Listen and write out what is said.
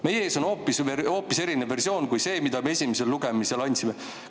Meie ees on hoopis erinev versioon kui see, mida me esimesel lugemisel.